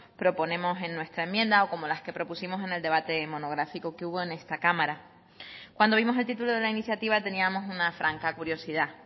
proponemos en nuestra enmienda o como las que propusimos en el debate monográfico que hubo en esta cámara cuando vimos el título de la iniciativa teníamos una franca curiosidad